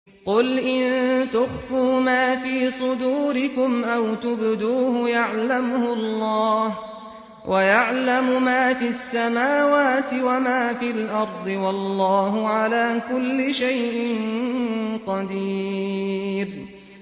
قُلْ إِن تُخْفُوا مَا فِي صُدُورِكُمْ أَوْ تُبْدُوهُ يَعْلَمْهُ اللَّهُ ۗ وَيَعْلَمُ مَا فِي السَّمَاوَاتِ وَمَا فِي الْأَرْضِ ۗ وَاللَّهُ عَلَىٰ كُلِّ شَيْءٍ قَدِيرٌ